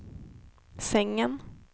sängen